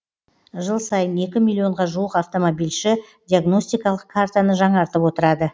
жыл сайын екі миллионға жуық автомобильші диагностикалық картаны жаңартып отырады